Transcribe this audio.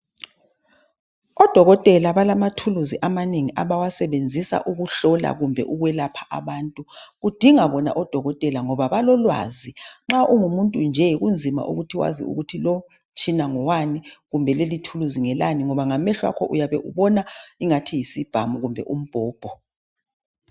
Odokotela balama thulusi amanengi abawasebenzisa ukuhlola kumbe ukwelapha abantu. Kudinga bona odokotela ngoba balolwazi nxa ungumuntu nje kunzima ukuthi wazi ukuthi lo umtshina ngowani kumbe leli thuluzi ngelani ngoba ngamehlo akho uyabe ubona isibhamu kumbe umbhobho.